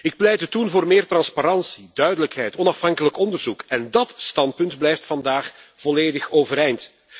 Ik pleitte toen voor meer transparantie, duidelijkheid, onafhankelijk onderzoek en dat standpunt blijft vandaag volledig overeind.